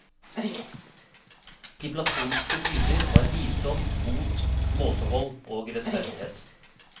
De platonske dyder var visdom, mot, måtehold og rettferdighet.